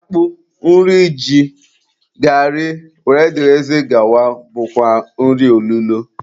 Akpụ, nri ji, gari wdg bụkwa nri olulo